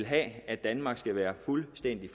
have at danmark skal være fuldstændig